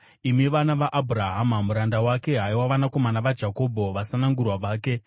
imi vana vaAbhurahama muranda wake, haiwa vanakomana vaJakobho, vasanangurwa vake.